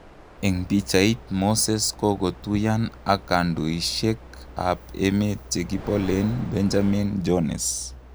Eng pichait,:Moses kokotuyaan ak kandoishek ap emet chekipolet Benjamin Jones